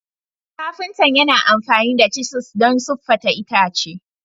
Kafinta yana amfani da cisis don siffata itace.